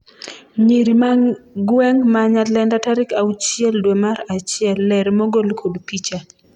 nyiri ma gweng' ma Nyalenda tarik auchiel dwe mar achiel ,ler mogol kod picha